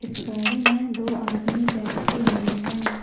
इस गाड़ी में दो आदमी बैठे हुए हैं।